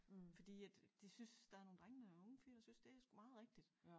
Fordi at det synes der er nogle drenge unge øh fyre der synes det er sgu meget rigtigt